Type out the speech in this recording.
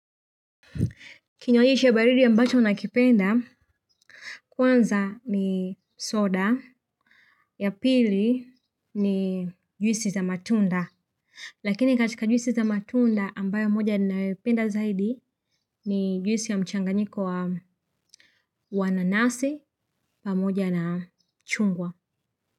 Kinywaji cha baridi ambacho nakipenda kwanza ni soda, ya pili ni juisi za matunda lakini katika juisi za matunda ambayo moja ninayoipenda zaidi ni juisi ya mchanganyiko wa nanasi pamoja na chungwa.